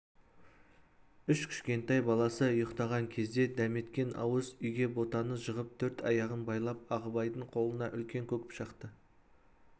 үш кішкентай баласы ұйықтаған кезде дәметкен ауыз үйге ботаны жығып төрт аяғын байлап ағыбайдың қолына үлкен көк пышақты